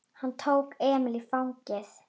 Hann tók Emil í fangið.